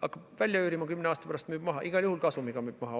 hakkab välja üürima, kümne aasta pärast müüb maha, igal juhul kasumiga müüb maha.